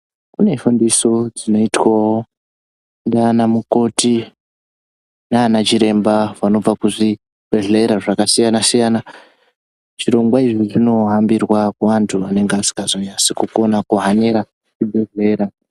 Kune fundiso dzinoitwawo ndianamukoti nanachiremba vanobva kuzvibhehlera zvakasiyanasiyana zvirongwa izvi zvinohambirwa kuantu anonga asingazonyatsi kuhanira zvibhehlera.